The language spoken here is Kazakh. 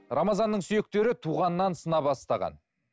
рамазанның сүйектері туғаннан сына бастаған